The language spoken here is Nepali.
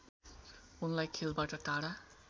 उनलाई खेलबाट टाढा